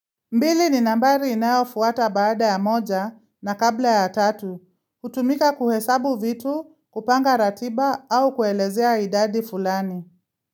Mbili ni nambari inayo fuata baada ya moja na kabla ya tatu. Kutumika kuhesabu vitu, kupanga ratiba au kuelezea idadi fulani.